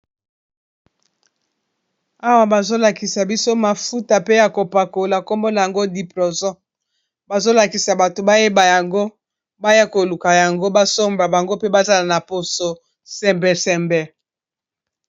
Awa bazolakisa biso mafuta pe ya kopakola kombo na yango diproson bazolakisa bato bayeba yango baya koluka yango ba somba bango pe bazala na poso sembe sembe.